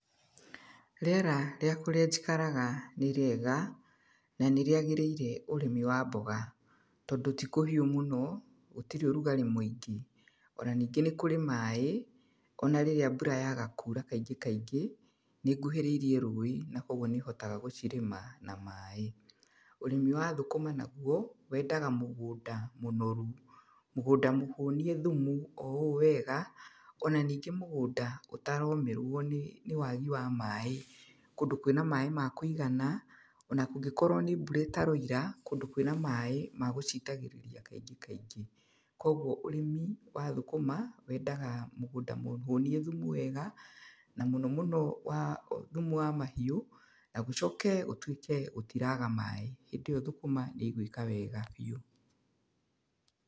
Rĩera rĩa kũrĩa njikaraga, nĩ rĩega, na nĩ rĩagĩrĩire ũrĩmi wa mboga. Tondũ ti kũhiũ mũno, gũtirĩ ũrugarĩ mũingĩ. Ona ningĩ nĩ kũrĩ maaĩ, ona rĩrĩa mbura yaaga kura kaingĩ kaingĩ, nĩ nguhĩrĩirie rũũĩ na koguo nĩ hotaga gũcirĩma na maaĩ. Ũrĩmi wa thũkũma naguo, wendaga mũgũnda mũnoru. Mũgũnda mũhũnie thumu o ũũ wega, ona ningĩ mũgũnda ũtaromĩrwo nĩ nĩ waagi wa maaĩ. Kũndũ kwĩna maaĩ ma kũigana, ona kũngĩkorwo nĩ mbura ĩtaroira, kũndũ kwĩna maaĩ, ma gũcitagĩrĩria kaingĩ kaingĩ. Koguo ũrĩmi wa thũkũma, wendaga mũgũnda mũhũnie thumu wega, na mũno mũno wa thumu wa mahiũ, na gũcoke gũtuĩke gũtiraga maaĩ. Hĩndĩ ĩyo thũkũma nĩ igũĩka wega biũ.